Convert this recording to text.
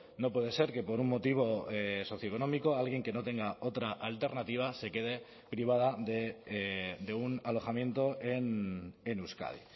no puede ser que por un motivo socioeconómico alguien que no tenga otra alternativa se quede privada de un alojamiento en euskadi